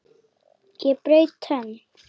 Ég braut tönn!